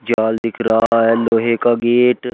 जाल दिख रहा है लोहे का गेट --